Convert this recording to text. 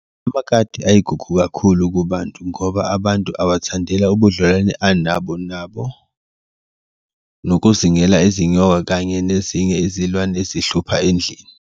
Amakati ayigugu kakhulu kubantu ngoba abantu awathandela ubudlelwano abanalo nabo nokuzingela izinyoka kanye nezinye izilwane ezihluphayo endlini.